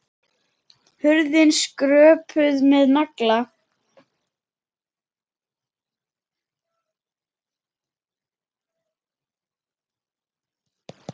Hurðin skröpuð með nagla.